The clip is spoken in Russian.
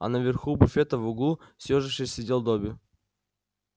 а на верху буфета в углу съёжившись сидел добби